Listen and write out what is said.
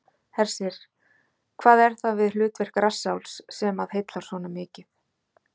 Hersir: Hvað er það við hlutverk rassálfs sem að heillar svona mikið?